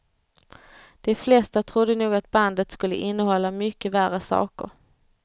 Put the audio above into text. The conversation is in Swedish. De flesta trodde nog att bandet skulle innehålla mycket värre saker.